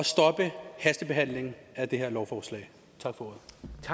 stoppe hastebehandlingen af det her lovforslag tak for